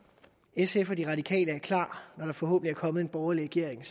sf og de radikale er klar når der forhåbentlig er kommet en borgerlig regering